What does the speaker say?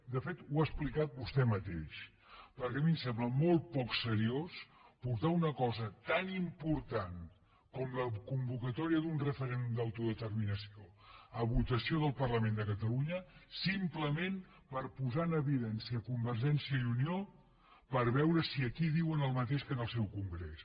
de fet ho ha explicat vostè mateix perquè a mi em sembla molt poc seriós portar una cosa tan important com la convocatòria d’un referèndum d’autodeterminació a votació del parlament de catalunya simplement per posar en evidència convergència i unió per veure si aquí diuen el mateix que en el seu congrés